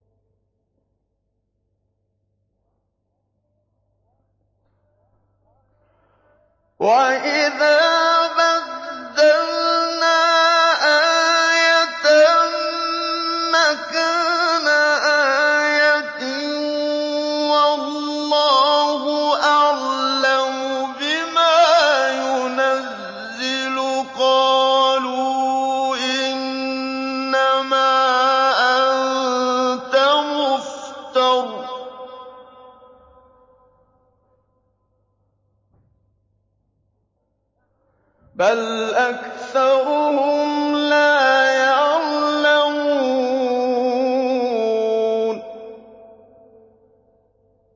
وَإِذَا بَدَّلْنَا آيَةً مَّكَانَ آيَةٍ ۙ وَاللَّهُ أَعْلَمُ بِمَا يُنَزِّلُ قَالُوا إِنَّمَا أَنتَ مُفْتَرٍ ۚ بَلْ أَكْثَرُهُمْ لَا يَعْلَمُونَ